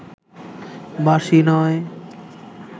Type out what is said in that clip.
বাঁশি নয়